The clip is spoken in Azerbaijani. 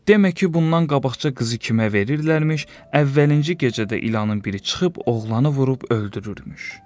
Demə ki, bundan qabaqca qızı kimə verirlərmiş, əvvəlinci gecədə ilanın biri çıxıb oğlanı vurub öldürürmüş.